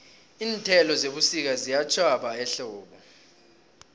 iinthelo zebusika ziyatjhwaba ehlobo